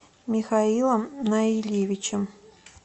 михаилом наильевичем